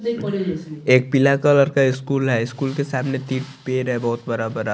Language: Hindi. एक पिला कलर का स्कूल है स्कूल के साथ में तिन पेड़ है बहुत बड़ा बड़ा--